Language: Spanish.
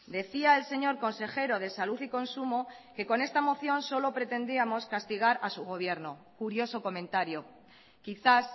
decía el señor consejero de salud y consumo que con esta moción solo pretendíamos castigar a su gobierno curioso comentario quizás